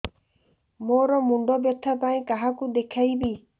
ମୋର ମୁଣ୍ଡ ବ୍ୟଥା ପାଇଁ କାହାକୁ ଦେଖେଇବି